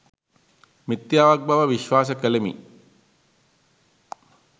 මිථ්‍යාවක් බව විශ්වාස කළෙමි.